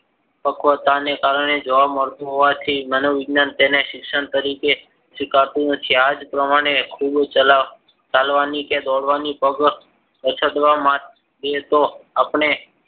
પકવતાને કારણે જોવા મળતું. હોવાથી મનોવૈજ્ઞાનિક તેને શિક્ષણ તરીકે સ્વીકારતું નથી. આ જ પ્રમાણે ખૂબ ચલાવ ચાલવાની અછતવા માટે તો આપણે